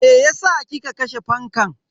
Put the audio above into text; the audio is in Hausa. Meyasa kika kashe fankan?